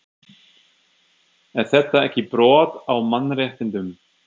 Er þetta ekki brot á mannréttindum?